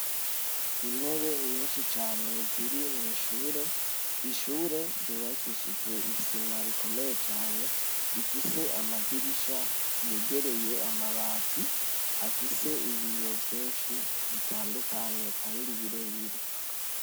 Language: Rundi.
Intebe nyinshi cane ziri mw'ishure, ishure ryubakishijwe isima rikomeye cane, rifise amadirisha yegeraye amabati afise ibiyo vyinshi bitandukanye kandi birebire.